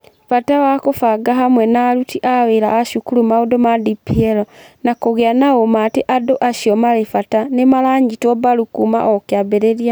Bata wa kũbanga hamwe na aruti a wĩra a cukuru maũndũ ma DPL, na kũgĩa na ũũma atĩ andũ acio marĩ bata nĩ maranyitwo mbaru kuuma o kĩambĩrĩria.